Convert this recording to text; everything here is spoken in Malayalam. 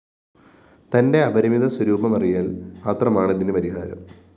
തന്റെ അപരിമിത സ്വരൂപമറിയല്‍ മാത്രമാണ് ഇതിന് പരിഹാരം